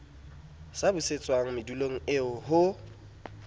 sa busetswang madulong eo ho